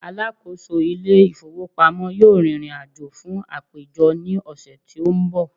alákóso ilé ifowópamọ́ yíò ririnajo fún àpéjọ ni ọsẹ ti o n bo